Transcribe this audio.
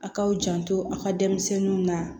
A k'aw janto a ka denmisɛnninw na